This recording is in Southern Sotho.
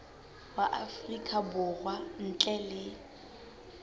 wa afrika borwa ntle le